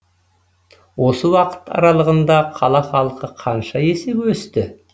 осы уақыт аралығында қала халқы қанша есеге өсті